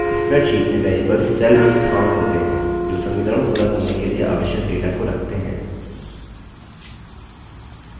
spreadsheet में variables cell स्थान होते हैं जो समीकरण पूरा करने के लिए आवश्यक data को रखते हैं